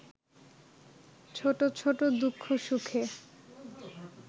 ছোটছোট দুঃখ সুখে